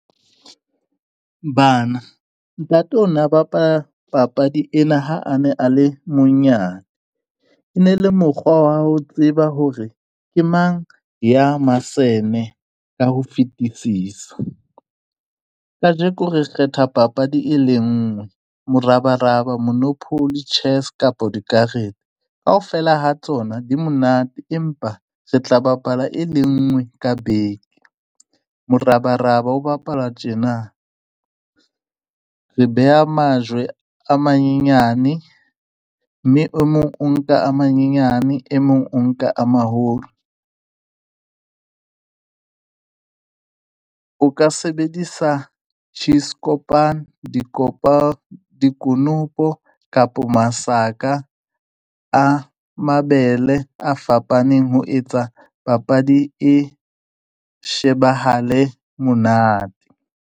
Bana, ntate o na bapala papadi ena ha a ne a le monyane, e ne le mokgwa wa ho tseba hore ke mang ya masene ka ho fetisisa. Kajeko re kgetha papadi e le nngwe, morabaraba, monopoly, chess kapo dikarete. Kaofela ha tsona di monate, empa re tla bapala e le nngwe ka beke. Morabaraba o bapalwa tjena, re beha majwe a manyenyane mme o mong o nka a manyenyane, e mong o nka a maholo. O ka sebedisa , dikonopo kapo masaka a mabele a fapaneng, ho etsa papadi e shebahale monate.